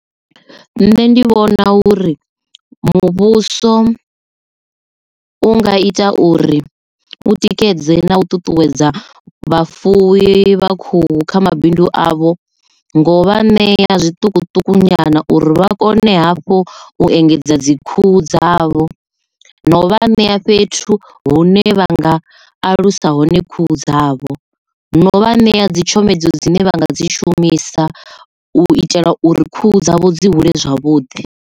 Nṋe ndi vhona uri muvhuso u nga ita uri u tikedze na u ṱuṱuwedza vhafuwi vha khou kha mabindu avho ngo vha ṋea zwiṱukuṱuku nyana uri vha kone hafhu u engedza dzi khuhu dzavho no vha ṋea fhethu hune vha nga alusa hone khuhu dzavho no vha ṋea dzi tshomedzo dzine vha nga dzi shumisa u itela uri khuhu dzavho dzi hule zwavhuḓi.